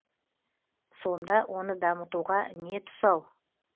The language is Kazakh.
сонда оны дамытуға не тұсау